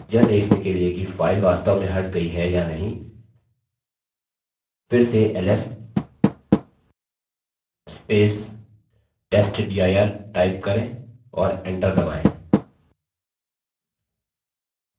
यह देखने के लिए कि file वास्तव में हट गई है या नहीं फिर से ls testdir टाइप करें और enter दबायें